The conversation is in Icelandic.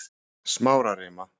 Smárarima